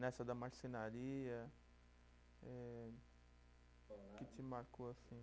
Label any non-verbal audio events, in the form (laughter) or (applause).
Nessa da marcenaria, eh (unintelligible) que te marcou, assim?